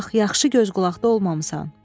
Bax, yaxşı göz qulaqda olmamısan.